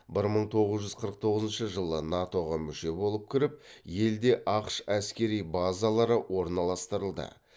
бір мың тоғыз жүз қырық тоғызыншы жылы нато ға мүше болып кіріп елде ақш әскери базалары орналастырылды